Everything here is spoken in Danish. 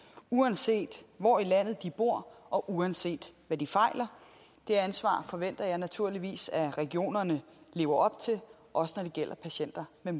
uanset hvor i landet de bor og uanset hvad de fejler det ansvar forventer jeg naturligvis at regionerne lever op til også når det gælder patienter med